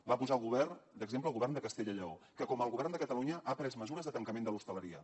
va posar d’exemple el govern de castella i lleó que com el govern de catalunya ha pres mesures de tancament de l’hostaleria